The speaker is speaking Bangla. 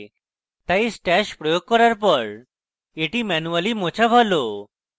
তাই stash প্রয়োগ করার পর এটি ম্যানুয়ালি মোছা ভালো